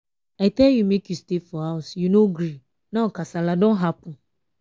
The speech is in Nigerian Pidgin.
i tell you make you stay for house you no gree now kasala don happen.